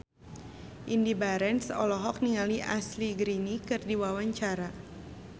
Indy Barens olohok ningali Ashley Greene keur diwawancara